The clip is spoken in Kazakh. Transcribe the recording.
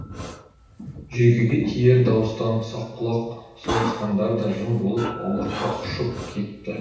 жүйкеге тиер дауыстан саққұлақ сауысқандар да жым болып аулаққа ұшып кетті